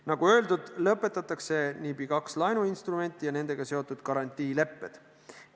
Nagu öeldud, lõpetatakse NIB-i kaks laenuinstrumenti ja nendega seotud garantiilepped.